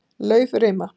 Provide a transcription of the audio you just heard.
Laufrima